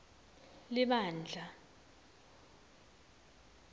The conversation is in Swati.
libandla